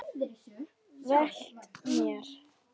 Velt mér.